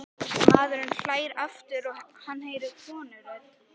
Maðurinn hlær aftur og hann heyrir konurödd.